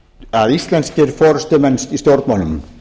að íslenskir forustumenn í stjórnmálum